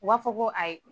U b'a fɔ ko ayi